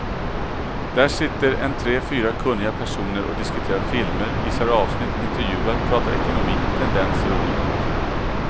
Där sitter en tre fyra kunniga personer och diskuterar filmer, visar avsnitt, intervjuar, pratar ekonomi, tendenser och dylikt.